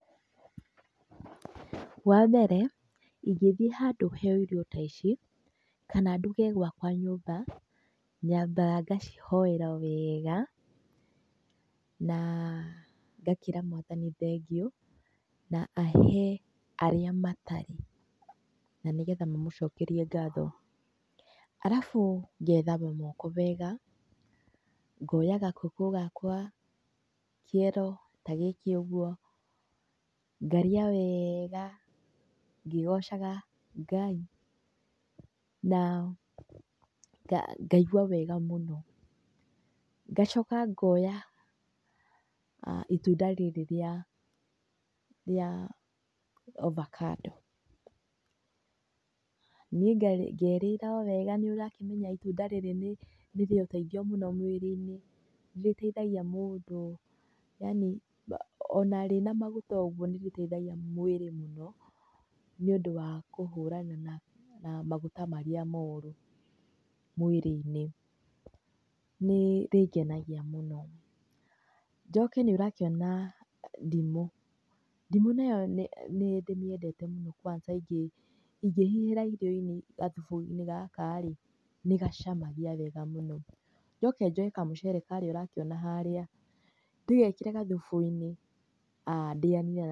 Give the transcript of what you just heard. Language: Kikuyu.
Wa mbere ĩngĩthĩi handũ heyo irio ta ici kana nduge gwakwa nyũmba, nyambaga ngacihoera wega na ngakĩra mwathani thengiũ na ahe arĩa matarĩ na nĩgetha mamũcokerie ngatho. Alafu ngethamba moko wega, ngoya gakũkũ gakwa, kĩero ta gĩkĩ ũguo, ngarĩa wega ngĩgocaga Ngai na ngaigua wega mũno. Ngacoka ngoya ĩtunda rĩrĩ rĩa ovacado nĩ ngerĩra mwega nĩ ũrakĩmenya ĩtunda rĩrĩ nĩ rĩrĩũteithio mũno mwĩrĩ-inĩ nĩ rĩteithagia mũndũ yanĩ ona rĩnamaguta ũguo nĩ rĩteithagia mwĩrĩ mũno nĩ ũndũ wa kũhũra na maguta marĩa moru mwĩrĩ-inĩ, nĩ rĩngenagia mũno. Njoke nĩ ũrakĩona ndimũ, ndimũ nayo nĩ ndĩmĩendete mũno kwanza ĩngĩhihĩra irio-inĩ gathubu-inĩ gaka rĩ nĩ gacamagĩa wega mũno. Njoke njoe kamũcere gaka ũrakĩona haria ndĩgekĩre gathubu-inĩ ndĩyanie.